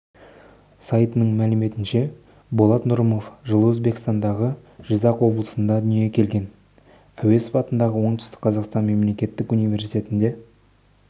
сайтының мәліметінше болат нұрымов жылы өзбекстандағы жизақ облысында дүниеге келген әуезов атындағы оңтүстік қазақстан мемлекеттік университетінде